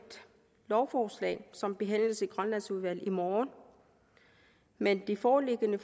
lovforslag som behandles i grønlandsudvalget i morgen men det foreliggende